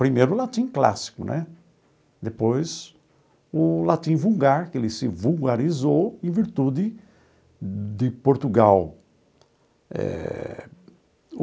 Primeiro o latim clássico né, depois o latim vulgar, que ele se vulgarizou em virtude de Portugal eh.